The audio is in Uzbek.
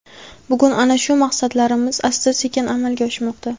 Bugun ana shu maqsadlarimiz asta-sekin amalga oshmoqda.